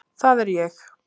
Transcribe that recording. Það er ég!